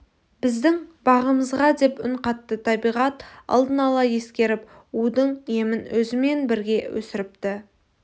біздің бағымызға деп үн қатты табиғат алдын ала ескеріп удың емін өзімен бірге өсіріпті